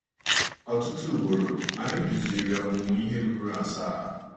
Ọtụtụ ugboro, anyị duziri ọmụmụ ihe ruru asaa.